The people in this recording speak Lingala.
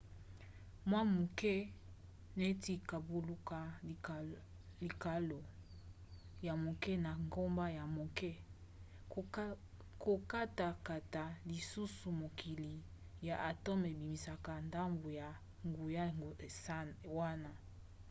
mwa moke neti kobaluka likalo ya moke na ngomba ya moke. kokatakata lisusu mukokoli ya atome ebimisaka ndambu ya nguya wana